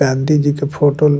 गांधी जी के फोटो --